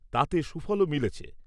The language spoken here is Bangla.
তাতে সুফলও মিলেছে।